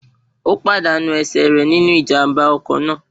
Ó pàdánù ẹsẹ̀ rẹ̀ sínú Ìjàm̀bá ọkọ̀ náà